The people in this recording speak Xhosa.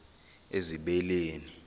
ezibeleni